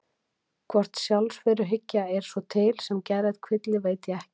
Hvort sjálfsveruhyggja er svo til sem geðrænn kvilli veit ég ekki.